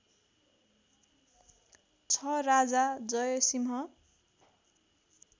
छ राजा जय सिंह